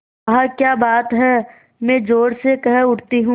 वाह क्या बात है मैं ज़ोर से कह उठती हूँ